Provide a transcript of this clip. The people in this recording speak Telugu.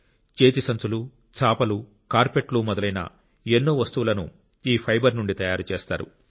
చేతి సంచులు చాపలు కార్పెట్లు మొదలైన ఎన్నో వస్తువులను ఈ ఫైబర్ నుండి తయారు చేస్తారు